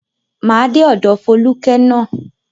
Máa dé ọ̀dọ̀ Fólúkẹ́ ná.